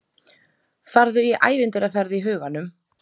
Farðu í ævintýraferð í huganum.